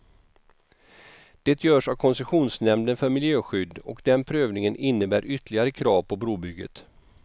Det görs av koncessionsnämnden för miljöskydd, och den prövningen innebär ytterligare krav på brobygget.